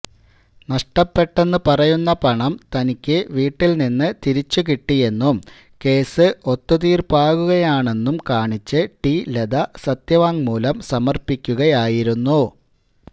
നഷ്ടപ്പെട്ടെന്ന് പറയുന്ന പണം തനിക്ക് വീട്ടിൽ നിന്ന് തിരിച്ച് കിട്ടിയെന്നും കേസ് ഒത്തുതീർപ്പാകുകയാണെന്നും കാണിച്ച് ടി ലത സത്യവാങ്്മൂലം സമർപ്പിക്കുകയായിരുന്നു